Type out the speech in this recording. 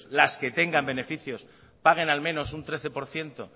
las que tengan beneficios paguen al menos un trece por ciento